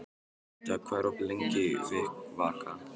Dögg, hvað er opið lengi í Vikivaka?